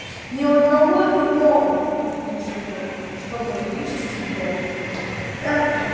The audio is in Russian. ни одного иного тут не живёт чтобы вычистить дом